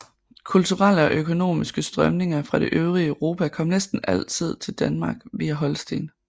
Kulturelle og økonomiske strømninger fra det øvrige Europa kom næsten altid til Danmark via Holsten